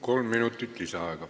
Kolm minutit lisaaega.